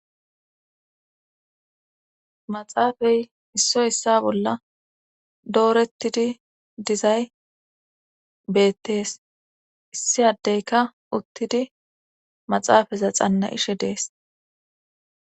Maxaafay issoy issa bolla doorettidi dizay beettees issi addeyka uttidi maxaafaza xanna ishe dees.